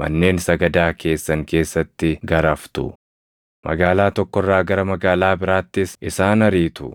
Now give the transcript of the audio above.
manneen sagadaa keessan keessatti garaftu; magaalaa tokko irraa gara magaalaa biraattis isaan ariitu.